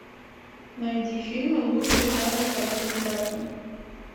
найди фильмы лучшие жанра короткометражный